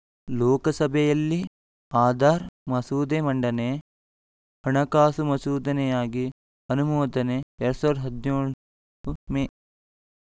ಲೋಕಸಭೆಯಲ್ಲಿ ಆಧಾರ್‌ ಮಸೂದೆ ಮಂಡನೆ ಹಣಕಾಸು ಮಸೂದೆಯಾಗಿ ಅನುಮೋದನೆ ಎರಡ್ ಸಾವಿರದ ಹದಿನೇಳು ಮೇ